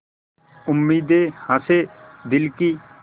उम्मीदें हसें दिल की